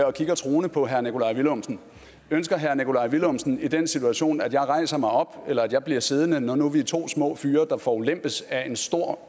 og kigger truende på herre nikolaj villumsen ønsker herre nikolaj villumsen i den situation at jeg rejser mig op eller at jeg bliver siddende når nu vi er to små fyre der forulempes af en stor